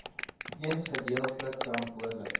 eens gedeeltelik verantwoordelik